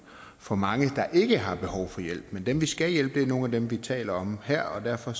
for mange der ikke har behov for hjælp men dem vi skal hjælpe er nogle af dem vi taler om her og derfor